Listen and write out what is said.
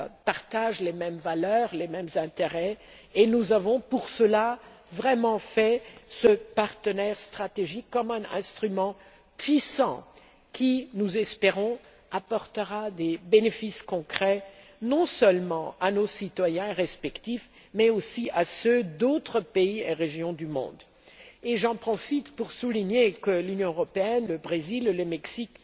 partage les mêmes valeurs et les mêmes intérêts. C'est pour cela que nous avons élaboré ce partenariat stratégique comme un instrument puissant qui, nous l'espérons, apportera des bénéfices concrets non seulement à nos citoyens respectifs, mais aussi à ceux d'autres pays et régions du monde. J'en profite pour souligner que l'Union européenne, le Brésil et le Mexique